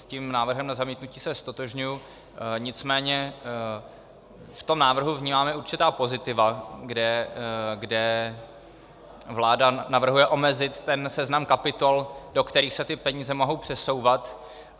S tím návrhem na zamítnutí se ztotožňuji, nicméně v tom návrhu vnímáme určitá pozitiva, kde vláda navrhuje omezit ten seznam kapitol, do kterých se ty peníze mohou přesouvat.